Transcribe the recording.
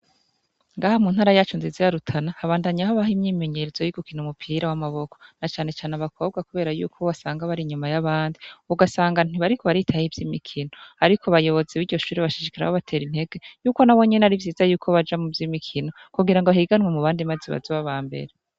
Ngaha muntara yacu nziza ya Rutana habandanya habaho imyimenyerezo yogukina umupira w'amaboko na cane cane abakobwa kubera yuko wasanga bar'inyuma yabandi ugasanga ntibariko baritaho ivyimikino ariko abayobozi biryo shure bashishikara babatera intege yuko nabo nyine arivyiza ko boja muvyimikino kugira bazoje mubandi bahiganwe bazobe abambere.